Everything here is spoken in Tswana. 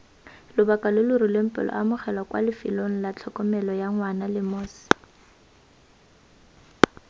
lobaka lo lo rileng peleaamogelwakwalefelonglatlhokomeloyangwanalemos